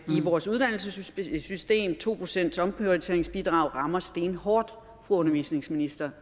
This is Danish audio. i vores uddannelsessystem to procentsomprioriteringsbidraget rammer stenhårdt fru undervisningsminister